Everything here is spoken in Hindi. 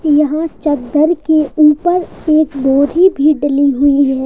यहां चद्दर के ऊपर एक बोरी भी डाली हुई है।